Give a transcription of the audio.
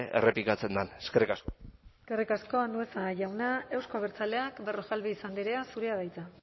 errepikatzen den eskerrik asko eskerrik asko andueza jauna euzko abertzaleak berrojalbiz andrea zurea da hitza